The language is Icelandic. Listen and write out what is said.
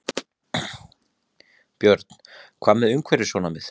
Björn: Hvað með umhverfissjónarmið?